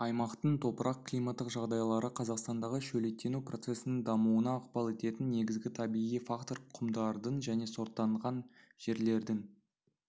аймақтың топырақ-климаттық жағдайлары қазақстандағы шөлейттену процесінің дамуына ықпал ететін негізгі табиғи фактор құмдардың және сортаңданған жерлердің